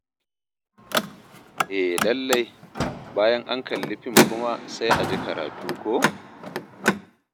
E lallai, bayan an kalli fim kuma sai a ji karatu ko?